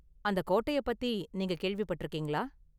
அந்த கோட்டையை பத்தி நீங்க கேள்விப்பட்டிருக்கீங்களா?